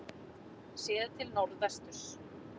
Séð til norðvesturs.